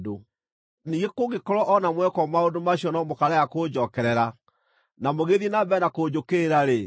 “ ‘Ningĩ kũngĩkorwo o na mwekwo maũndũ macio no mũkaarega kũnjookerera na mũgĩthiĩ na mbere kũnjũkĩrĩra-rĩ,